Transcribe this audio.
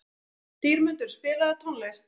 Dýrmundur, spilaðu tónlist.